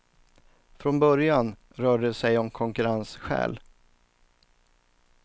Från början rörde det sig om konkurrensskäl.